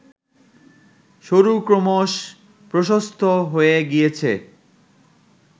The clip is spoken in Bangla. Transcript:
সরু ক্রমশঃ প্রশস্ত হয়ে গিয়েছে